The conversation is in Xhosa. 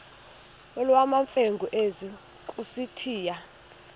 nolwamamfengu ize kusitiya